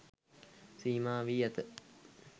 සීමා වී ඇත.